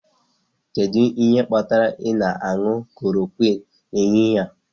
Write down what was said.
Kedu ihe kpatara ị na-aṅụ klorokwịnụ n'ehihie a?